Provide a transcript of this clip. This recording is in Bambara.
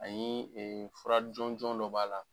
Ayi fura jɔnjɔn dɔ b'a la.